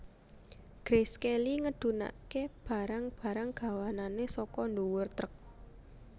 Grace Kelly ngedhunake barang barang gawanane saka dhuwur truk